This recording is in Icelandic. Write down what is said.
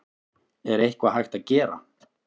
Er eitthvað hægt að gera?